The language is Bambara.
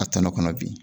A tɔnɔ kɔnɔ bi